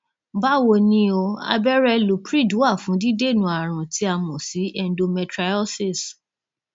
báwo ni o abẹrẹ lupride wà fún dídènà àrùn tí a mọ sí endometriosis